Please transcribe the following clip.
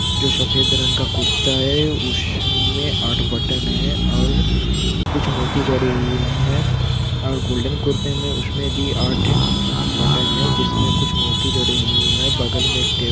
जो शफेद रंग का कुर्ता है उसमे आठ बटन है और कुछ मोती जड़े हुए है और गोल्डन कुरते मे उसमे भी आठ बटन है जिसमे कुछ मोती जडे हुए है बगल में एक टे--